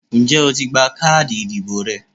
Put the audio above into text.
Ǹjé o ti gba káàdì ìdìbò rẹ?